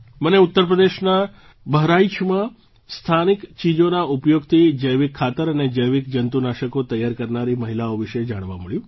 મને ઉત્તર પ્રદેશના બહરાઇચમાં સ્થાનિક ચીજોના ઉપયોગથી જૈવિક ખાતર અને જૈવિક જંતુનાશકો તૈયાર કરનારી મહિલાઓ વિશે જાણવા મળ્યું